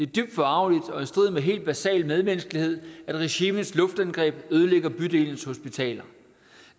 dybt forargeligt og i strid med helt basal medmenneskelighed at regimets luftangreb ødelægger bydelens hospitaler